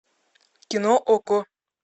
кино окко